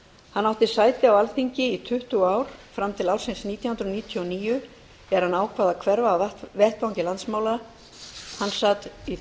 hann átti sæti á alþingi í tuttugu ár fram til ársins nítján hundruð níutíu og níu er hann ákvað að hverfa af vettvangi landsmála hann sat á